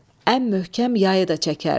Ən möhkəm yayı da çəkərdi.